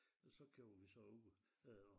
Og så kører vi så ud øh og